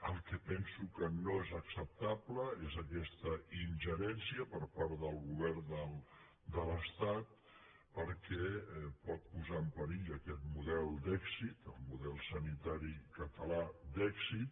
el que penso que no és acceptable és aquesta ingerència per part del govern de l’estat perquè pot posar en perill aquest model d’èxit el model sanitari català d’èxit